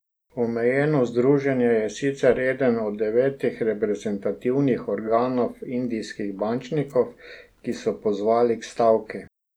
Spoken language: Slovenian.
Omenjeno združenje je sicer eden od devetih reprezentativnih organov indijskih bančnikov, ki so pozvali k stavki.